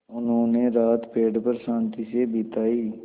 उन्होंने रात पेड़ पर शान्ति से बिताई